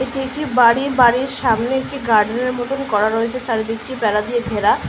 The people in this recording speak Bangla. এটি একটি বাড়ি। বাড়ির সামনে একটি গার্ডেনের মতো করা রয়েছে চারিদিকটি বেড়া দিয়ে ঘেরা।